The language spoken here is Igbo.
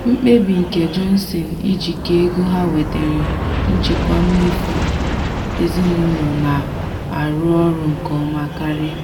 mkpebi nke johnson ijikọ ego ha wetere njikwa mmefu ezinụlọ na-arụ ọrụ nke ọma karịa